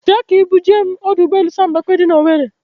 Bịa ka ị bu jee m ọdọ ụgbọelu Sam Mbakwe dị n'Owere.